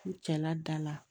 N cɛla da la